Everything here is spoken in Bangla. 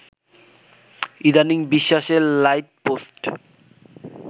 ইদানিং বিশ্বাসের লাইটপোস্ট